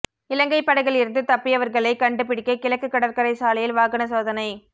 இலங்கை படகில் இருந்து தப்பியவர்களை கண்டுபிடிக்க கிழக்கு கடற்கரை சாலையில் வாகன சோதனை